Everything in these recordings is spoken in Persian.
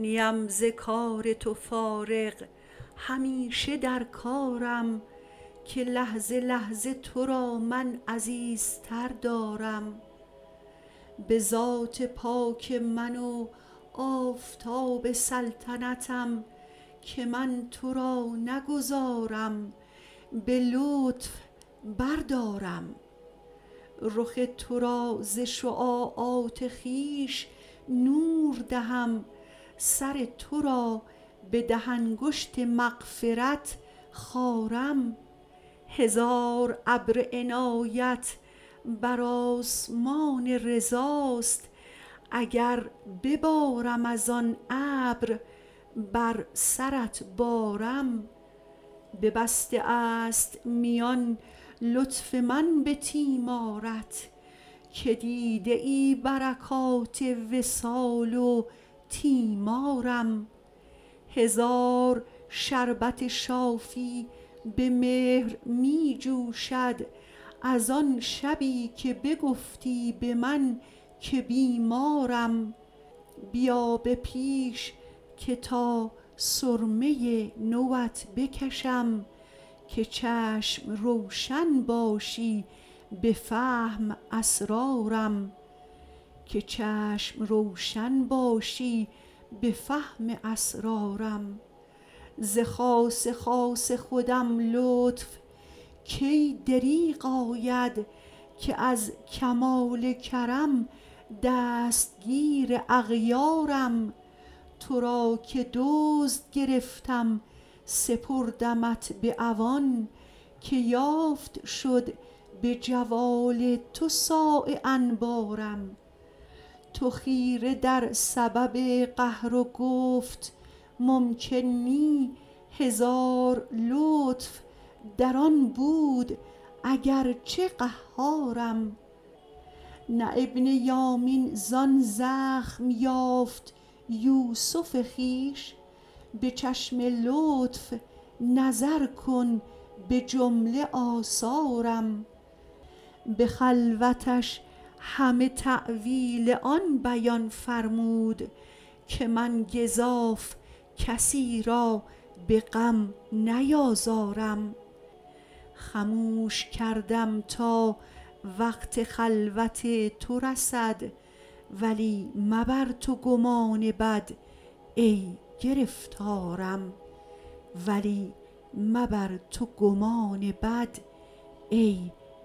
نیم ز کار تو فارغ همیشه در کارم که لحظه لحظه تو را من عزیزتر دارم به ذات پاک من و آفتاب سلطنتم که من تو را نگذارم به لطف بردارم رخ تو را ز شعاعات خویش نور دهم سر تو را به ده انگشت مغفرت خارم هزار ابر عنایت بر آسمان رضاست اگر ببارم از آن ابر بر سرت بارم ببسته ست میان لطف من به تیمارت که دیده ای برکات وصال و تیمارم هزار شربت شافی به مهر می جوشد از آن شبی که بگفتی به من که بیمارم بیا به پیش که تا سرمه نو ات بکشم که چشم روشن باشی به فهم اسرارم ز خاص خاص خودم لطف کی دریغ آید که از کمال کرم دستگیر اغیارم تو را که دزد گرفتم سپردمت به عوان که یافت شد به جوال تو صاع انبارم تو خیره در سبب قهر و گفت ممکن نی هزار لطف در آن بود اگر چه قهارم نه ابن یامین زان زخم یافت یوسف خویش به چشم لطف نظر کن به جمله آثارم به خلوتش همه تأویل آن بیان فرمود که من گزاف کسی را به غم نیازارم خموش کردم تا وقت خلوت تو رسد ولی مبر تو گمان بد ای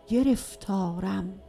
گرفتارم